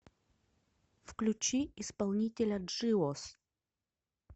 включи исполнителя джиос